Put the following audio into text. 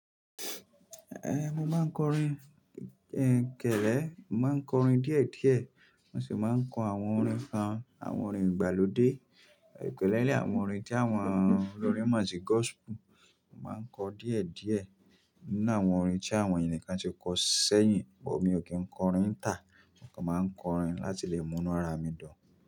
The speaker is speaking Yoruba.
Ehn, mo máa ń kọrin, ehn kẹ̀lẹ́. Mo máa ń kọrin díẹ̀ díẹ̀, mo sì máa ń kọ àwọn orin kan, àwọn orin ìgbàlódé, especially àwọn orin tí àwọn olórin mo si gospel. Mo máa ń kọ díẹ̀ díẹ̀ nínú àwọn orin tí àwọn ènìkan ti kọ sẹ́yìn, but mi ò kí ń kọrin tà. Mo kàn máa ń kọrin láti lè mú inú ara mi dun.